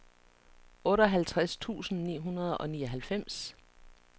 otteoghalvtreds tusind ni hundrede og nioghalvfems